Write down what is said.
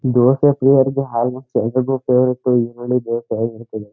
Dosa almost ಎಲರಿಗೂ favourite ಈರುಳ್ಳಿ ದೋಸೆ ಹೇಳ್ಬಿಡ್ತೀನಿ.